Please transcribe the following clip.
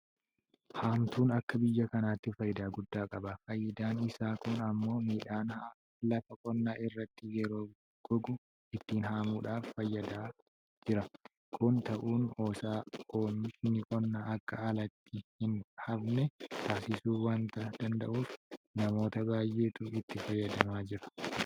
Haamtuun akka biyya kanaatti faayidaa guddaa qaba. Faayidaan isaa kun immoo midhaan lafa qonnaa irratti yeroo gogu ittiin haamuudhaaf fayyadaa jira. Kun ta'uun isaa oomishni qonnaa akka alatti hin hafne taasisuu waanta danda'uuf namoota baay'eetu itti fayyadamaa jira.